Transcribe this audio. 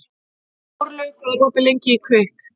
Þórlaug, hvað er opið lengi í Kvikk?